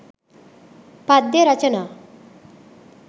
පද්‍ය රචනා